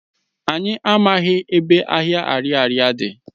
Anyị amaghị ebe ahịa Ariaria dị.